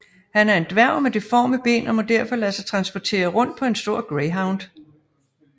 Han er en dværg med deforme ben og må derfor lade sig transportere rundt på en stor greyhound